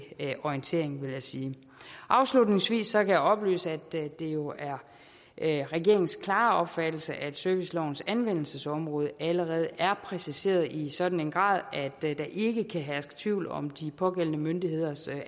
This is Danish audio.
orientering vil jeg sige afslutningsvis kan jeg oplyse at det jo er er regeringens klare opfattelse at servicelovens anvendelsesområde allerede er præciseret i sådan en grad at der ikke kan herske tvivl om de pågældende myndigheders